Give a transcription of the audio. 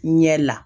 Ɲɛ la